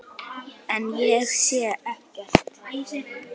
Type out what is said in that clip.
En ég segi ekkert.